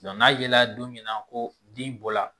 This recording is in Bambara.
n'a yela don min na ko den bɔra